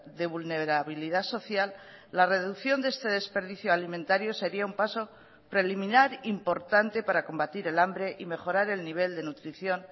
de vulnerabilidad social la reducción de este desperdicio alimentario sería un paso preliminar importante para combatir el hambre y mejorar el nivel de nutrición